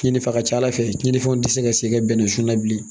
Cɛnnifɛn ka ca ala fɛ cɛnninfɛnw tɛ se ka segin ka bɛnnɛ sun na bilen